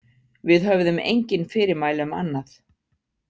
Við höfðum engin fyrirmæli um annað.